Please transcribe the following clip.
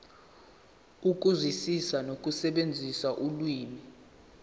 ukuzwisisa nokusebenzisa ulimi